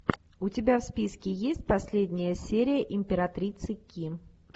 у тебя в списке есть последняя серия императрицы ки